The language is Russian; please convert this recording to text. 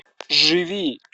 живи